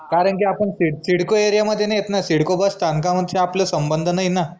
कारन की आपन सिडको area मध्ये नाई येत ना सिडको बस स्थानकाशी आपला संबंध नाई ना